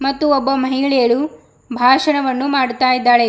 ಮತ್ತು ಒಬ್ಬ ಮಹಿಳೆಯಳು ಭಾಷಣವನ್ನು ಮಾಡ್ತಾ ಇದ್ದಾಳೆ.